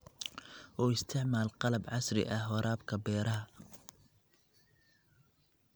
U isticmaal qalab casri ah waraabka beeraha.